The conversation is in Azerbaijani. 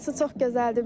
Burası çox gözəldir.